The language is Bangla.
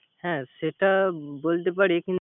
হ্যা সেটা বলতে পারি, কিন্তু